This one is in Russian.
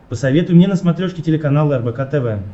посоветуй мне на смотрешке телеканал рбк тв